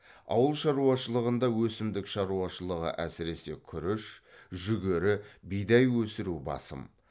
ауыл шаруашылығында өсімдік шаруашылығы әсіресе күріш жүгері бидай өсіру басым